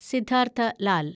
Siddhartha Lal